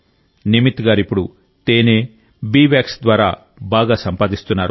నిమిత్ గారు ఇప్పుడు తేనె బీ వ్యాక్స్ ద్వారా బాగా సంపాదిస్తున్నారు